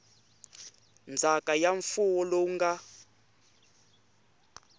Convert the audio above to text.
ndzhaka ya mfuwo lowu nga